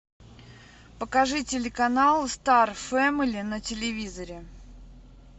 покажи телеканал стар фемели на телевизоре